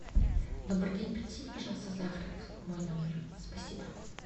добрый день принесите пожалуйста завтрак в мой номер спасибо